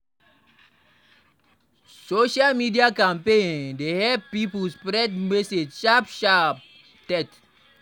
Social media campaign dey help spread protest message sharp sharp